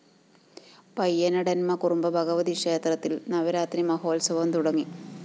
പയ്യനെടംന്മകുറുമ്പ ഭഗവതി ക്ഷേത്രത്തില്‍ നവരാത്രി മഹോത്സവം തുടങ്ങി